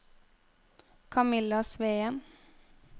Camilla Sveen